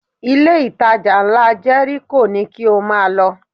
Ilé-ìtajà ńlá Jẹ́ríkò ni kí o máa lọ